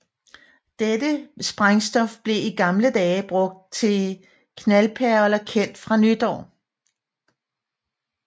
Dette sprængstof blev i gamle dage brugt i knaldperler kendt fra nytår